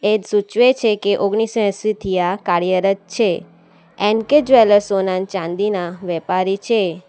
સૂચવે છે કે ઓગણીસો એંશી થી આ કાર્યરત છે એન કે જ્વેલર્સ સોનાની ચાંદીના વેપારી છે.